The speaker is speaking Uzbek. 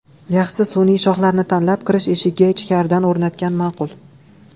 Yaxshisi, sun’iy shoxlarni tanlab, kirish eshigiga ichkaridan o‘rnatgan ma’qul.